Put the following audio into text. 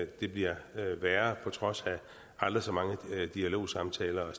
det bliver værre på trods af aldrig så mange dialogsamtaler